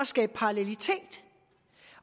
skabe parallelitet